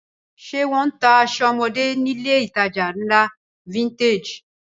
Ṣé wọ́n ń ta aṣọ ọmọdé nílé-ìtajà ńlá Vintage?